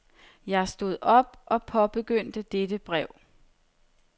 Jeg stod op og påbegyndte dette brev.